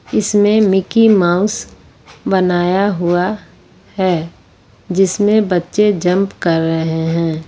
इसमें Mickey Mouse बनाया हुआ है जिसमें बच्चे जंप कर रहे हैं।